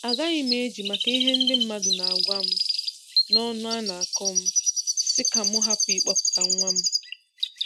Agaghị m eji maka ihe ndị mmadụ na-agwa m na ọnụ a na-akọ m sị ka m hapụ ịkpọpụta nwa m.